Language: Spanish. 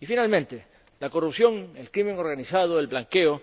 Y, finalmente, la corrupción, el crimen organizado y el blanqueo